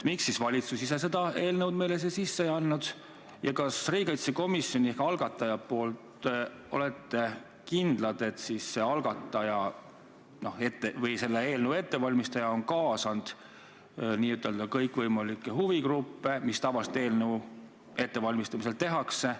Miks valitsus ise seda eelnõu meile sisse ei andnud ja kas te riigikaitsekomisjoni ehk algataja poolt olete kindlad, et selle eelnõu ettevalmistaja on kaasanud kõikvõimalikke huvigruppe, nagu tavaliselt eelnõu ettevalmistamisel tehakse?